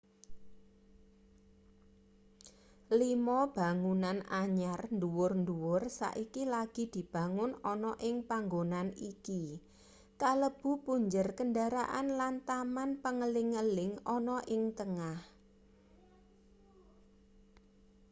lima bangunan anyar dhuwur-dwuhur saiki lagi dibangun ana ing panggonan iki kalebu punjer kendharaan lan taman pengeling-eling ana ing tengah